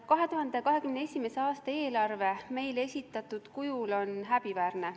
2021. aasta eelarve meile esitatud kujul on häbiväärne.